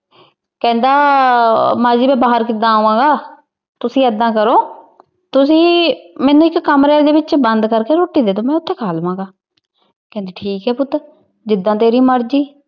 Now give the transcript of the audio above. ਕਹਿੰਦਾ ਆਹ ਮਾਂ ਜੀ ਮੈ ਬਾਹਰ ਕਿਦਾਂ ਆਵਾਂਗਾ? ਤੂਸੀ ਇਦਾਂ ਕਰੋ ਤੁਸੀਂ ਮੈਨੂੰ ਇੱਕ ਕਮਰੇ ਦੇ ਵਿੱਚ ਬੰਦ ਕਰਕੇ ਰੋਟੀ ਦੇਦੋ, ਮੈਂ ਓਥੇ ਖਾ ਲਵਾਂਗਾ। ਕਹਿੰਦੀ ਠੀਕ ਐ ਪੁੱਤ, ਜਿੱਦਾਂ ਤੇਰੀ ਮਰਜੀ।